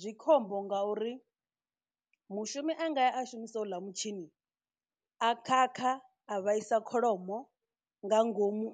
Zwi khombo ngauri mushumi a ngaya a shumisa houḽa mutshini a khakha a vhaisa kholomo nga ngomu